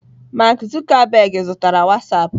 Mark Zuckerberg zutara Whastapp.